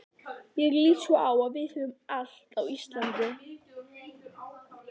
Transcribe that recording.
Ég lít svo á að við höfum allt á Íslandi.